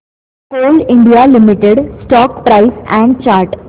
Coal India Limited stock price and chart